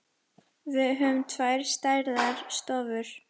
Við höfum tvær stærðar stofur.